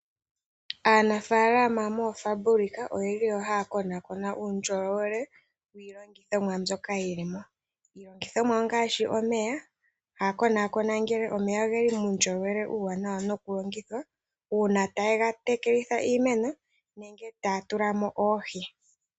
Aanafalama mooFabulika oyeli wo haya konakona uundjolowele wiilongithomwa mbyoka yili mo. Iilongithomwa ongaashi omeya, haya konakona ngele omeya ogeli muundjolowele uuwanawa nokulongithwa, uuna taye gatekelitha iimeno nenge taya tula mo oohi.